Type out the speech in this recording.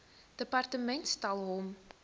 departement stel hom